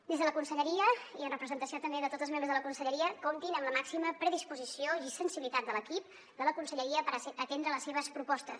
des de la conselleria i en representació també de tots els membres de la conse lleria comptin amb la màxima predisposició i sensibilitat de l’equip de la con selleria per atendre les seves propostes